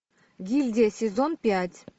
гильдия сезон пять